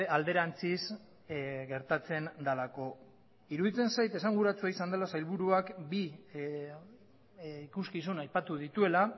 alderantziz gertatzen delako iruditzen zait esanguratsua izan dela sailburuak bi ikuskizun aipatu dituela